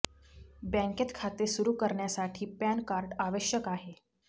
बँकेत खाते सुरु करण्यासाठी पॅन कार्ड आवश्यक आहे